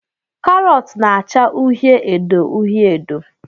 Karot na -acha uhie edo uhie edo.